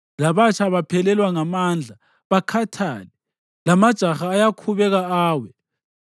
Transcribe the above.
Labatsha baphelelwa ngamandla bakhathale, lamajaha ayakhubeka awe,